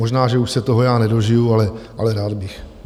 Možná, že už se toho já nedožiji, ale rád bych.